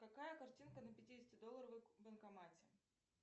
какая картинка на пятидесятидолларовой банкомате